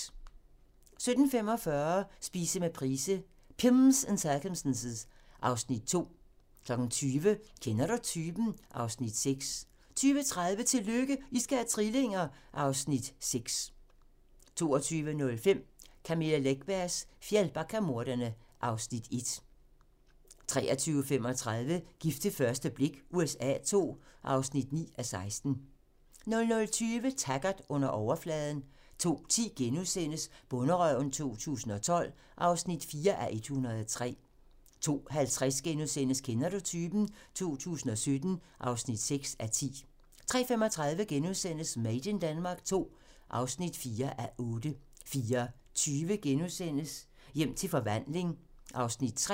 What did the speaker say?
17:45: Spise med Price - Pimms and circumstance (Afs. 2) 20:00: Kender du typen? (Afs. 6) 20:30: Tillykke, I skal have trillinger! (Afs. 6) 22:05: Camilla Läckbergs Fjällbackamordene (Afs. 1) 23:35: Gift ved første blik USA II (9:16) 00:20: Taggart: Under overfladen 02:10: Bonderøven 2012 (4:103)* 02:50: Kender du typen? 2017 (6:10)* 03:35: Made in Denmark II (4:8)* 04:20: Hjem til forvandling (Afs. 3)*